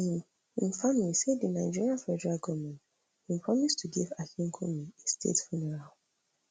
im im family say di nigerian federal goment bin promise to give akinkunmi a state funeral